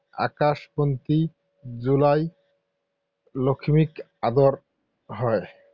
আকাশবন্তি জ্বলাই লখিমীক আদৰা হয়।